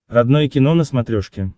родное кино на смотрешке